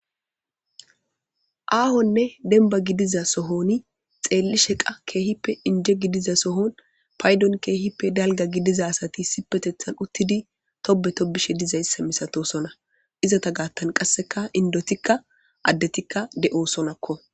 Aahonne denba gidiza sohoni xeelli sheqa keehippe inje gidiza sohon paydon keehippe dalga gidiza asati sipetethan uttidi tobe to bishe dizayssa misato sona izota gaattan qasseka indotikka addetikka de'o sonakko.